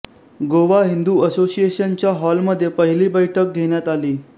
गोवा हिंदू असोसिशिएनच्या हॉलमध्ये पहिली बैठक घेण्यात आली